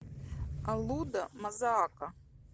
аллуда мазаака